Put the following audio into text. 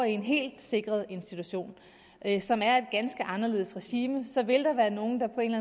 i en helt sikret institution som er et ganske anderledes regime så vil der være nogle der på en